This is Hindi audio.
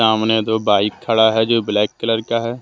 सामने दो बाइक खड़ा है जो ब्लैक कलर का है।